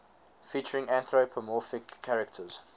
featuring anthropomorphic characters